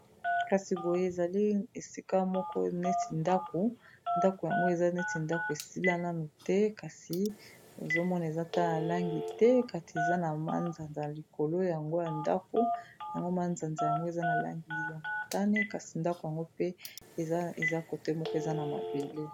Kasi boye ezali esika moko neti ndako ndako yango eza neti ndako esilananu te kasi ezomona eza ta na langi te kati eza na ma nzanza a likolo yango ya ndako yango manzanza yango eza na langi ya motane, kasi ndako yango pe eza kote moko eza na mabele.